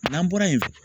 N'an bɔra yen